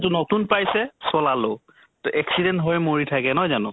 নতুন পাইছে, চলালো । তʼ accident হৈ মৰি থাকে, নহয় জানো ?